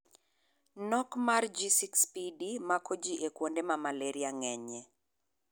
Nok mar G6PD mako ji e kuonde ma Malaria ng'enyie.